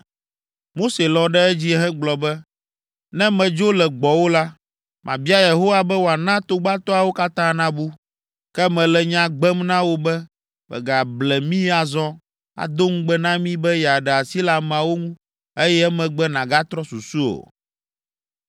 Mose lɔ̃ ɖe edzi hegblɔ be, “Ne medzo le gbɔwò la, mabia Yehowa be wòana togbatoawo katã nabu. Ke mele nya gbem na wò be mègable mí azɔ, ado ŋugbe na mí be yeaɖe asi le ameawo ŋu, eye emegbe nàgatrɔ susu o.”